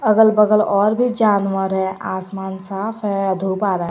अगल-बगल और भी जानवर है आसमान साफ है धूप आ रहा है।